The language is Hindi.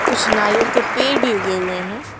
कुछ नारियल के पेड़ भी उगे हुए हैं।